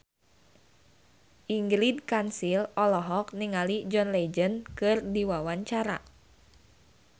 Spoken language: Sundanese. Ingrid Kansil olohok ningali John Legend keur diwawancara